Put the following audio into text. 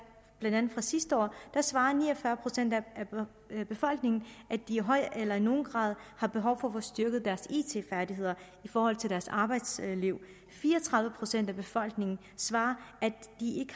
fra sidste år svarede ni og fyrre procent af befolkningen at de i høj eller i nogen grad har behov for at få styrket deres it færdigheder i forhold til deres arbejdsliv fire og tredive procent af befolkningen svarede at de